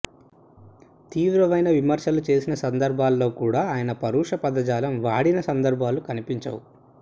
తీవ్రమైన విమర్శలు చేసిన సందర్భాల్లో కూడా ఆయన పరుష పదజాలం వాడిన సందర్భాలు కనిపించవు